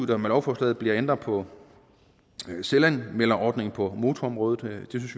der med lovforslaget bliver ændret på selvanmelderordningen på motorområdet vi synes